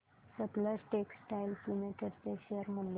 Sutlej textiles limited चे share मूल्य